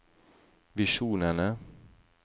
visjonene